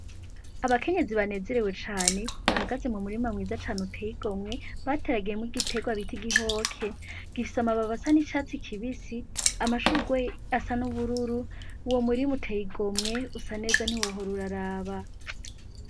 Abakenyezi banezerewe cane, bahagaze mu murima mwiza cane uteyigomwe bateragiyemwo igiterwa ciza bita igihoke, gifise amababi asa n'icatsi kibisi, amashurwe asa n'ubururu, uwo umurima uteyigomwe, usa neza ntiwohora uraraba.